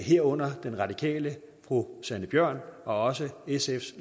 herunder den radikale fru sanne bjørn og sfs